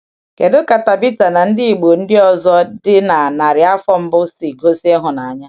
Kedu ka Tábíthacs] na ndị Igbo ndị ọzọ dị na narị afọ mbụ si um gosi ịhụnanya?